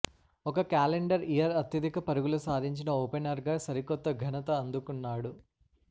ఒక calendar year అత్యధిక పరుగులు సాధించిన ఓపెనర్గా సరికొత్త ఘనత అందుకున్నాడు